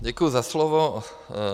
Děkuji za slovo.